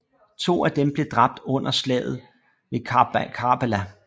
To af dem blev dræbt under Slaget ved Karbala